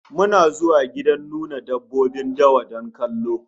Muna zuwa gidan nuna dabbobin dawa don kallo